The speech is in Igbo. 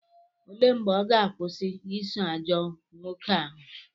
Olee mgbe ọ ga-akwụsị iso ajọ nwoke ahụ?